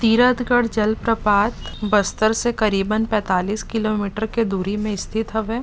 तीरथ गढ़ जलप्रपात बस्तर से करीबन पैतालिस किलोमीटर की दूरी में स्थित हवय।